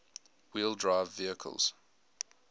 wheel drive vehicles